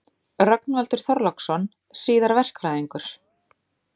Rögnvaldur Þorláksson, síðar verkfræðingur.